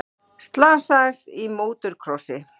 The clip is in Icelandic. Slasaðist í mótorkrossi